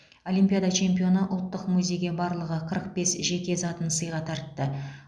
олимпиада чемпионы ұлттық музейге барлығы қырық бес жеке затын сыйға тартты